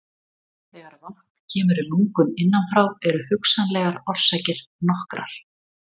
Þegar vatn kemur í lungun innan frá eru hugsanlegar orsakir nokkrar.